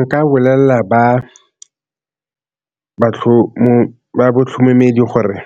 Nka bolelela ba gore